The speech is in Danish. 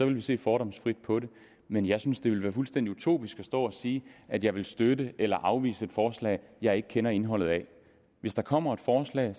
vi se fordomsfrit på det men jeg synes at det ville være fuldstændig utopisk at stå og sige at jeg ville støtte eller afvise et forslag jeg ikke kender indholdet af hvis der kommer et forslag